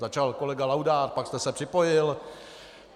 Začal kolega Laudát, pak jste se připojil.